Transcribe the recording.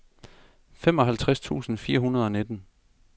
femoghalvtreds tusind fire hundrede og nitten